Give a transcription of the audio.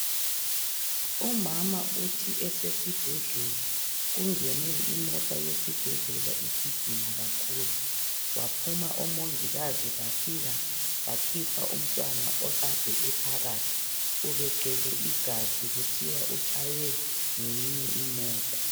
Umama uthi esibhedlela kungene imota yesibhedlela igijima kakhulu baphuma omongikazi bafika bakhipha umntwana okade ephakathi ubegcwele igazi kuthiwa utshaywe ngeyinye imota.